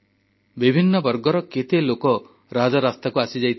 ବିଭିନ୍ନ ବର୍ଗର କେତେ ଲୋକ ରାଜରାସ୍ତାକୁ ଆସିଯାଇଥିଲେ